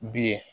Bilen